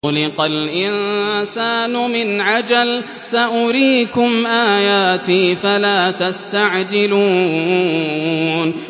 خُلِقَ الْإِنسَانُ مِنْ عَجَلٍ ۚ سَأُرِيكُمْ آيَاتِي فَلَا تَسْتَعْجِلُونِ